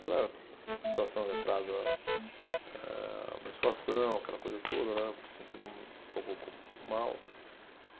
Aquela situação que atrasa a a menstruação, aquela coisa toda, né, se sentindo um pouco mal.